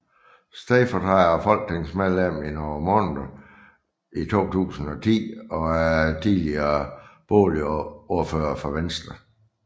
Stedfortræder og folketingsmedlem i nogle måneder i 2010 og er tidligere boligordfører for Venstre